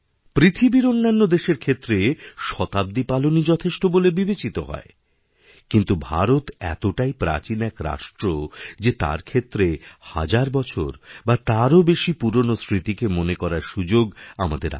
পৃথিবীরঅন্যান্য দেশের ক্ষেত্রে শতাব্দী পালনই যথেষ্ট বলে বিবেচিত হয় কিন্তু ভারত এতটাইপ্রাচীন এক রাষ্ট্র যে তার ক্ষেত্রে হাজার বছর বা তারও বেশি পুরোন স্মৃতিকে মনেকরার সুযোগ আমাদের আছে